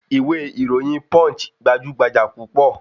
Ìwé ìròyìn Punch gbajúgbajà púpọ̀